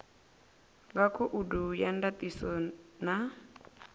nga khoudu ya ndatiso na